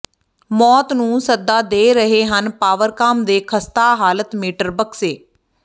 ਮੌਤ ਨੂੰ ਸੱਦਾ ਦੇ ਰਹੇ ਹਨ ਪਾਵਰਕਾਮ ਦੇ ਖ਼ਸਤਾ ਹਾਲਤ ਮੀਟਰ ਬਕਸੇ